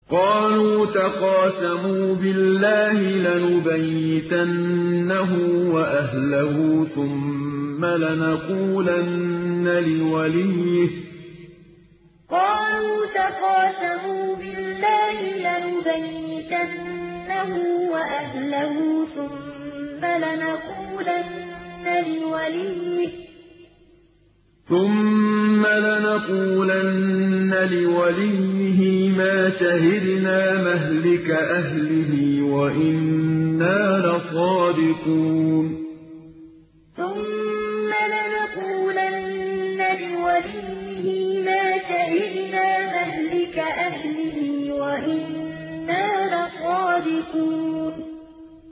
قَالُوا تَقَاسَمُوا بِاللَّهِ لَنُبَيِّتَنَّهُ وَأَهْلَهُ ثُمَّ لَنَقُولَنَّ لِوَلِيِّهِ مَا شَهِدْنَا مَهْلِكَ أَهْلِهِ وَإِنَّا لَصَادِقُونَ قَالُوا تَقَاسَمُوا بِاللَّهِ لَنُبَيِّتَنَّهُ وَأَهْلَهُ ثُمَّ لَنَقُولَنَّ لِوَلِيِّهِ مَا شَهِدْنَا مَهْلِكَ أَهْلِهِ وَإِنَّا لَصَادِقُونَ